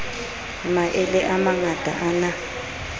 maele a mangata a na